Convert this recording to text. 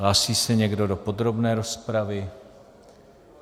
Hlásí se někdo do podrobné rozpravy?